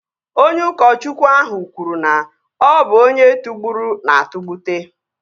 Onye ụkọchukwu ahụ kwuru na, ọ bụ onye tụgburu na-atụgbute